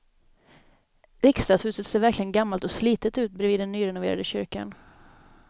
Riksdagshuset ser verkligen gammalt och slitet ut bredvid den nyrenoverade kyrkan.